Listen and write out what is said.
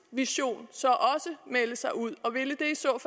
vision så også melde sig ud og ville